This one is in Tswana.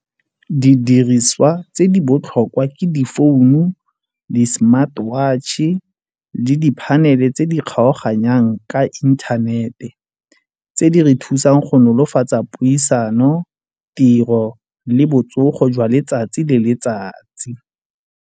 Didiriswa tse di botlhokwa ke di founu di-smart watch-e le di phanele tse di kgaoganyang ka inthanete tse di re thusang go nolofatsa puisano, tiro le botsogo jwa letsatsi le letsatsi.